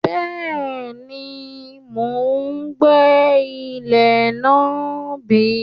Bẹ́ẹ̀ni, mò ń gbẹ́ ilẹ̀ náà bí